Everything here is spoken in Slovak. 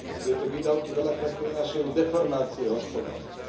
Tieto výdavky veľakrát prinášajú deformácie hospodárstva.